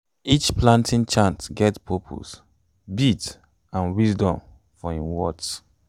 each planting chant get purpose beat and wisdom for im words